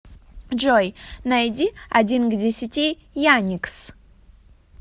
джой найди один к десяти яникс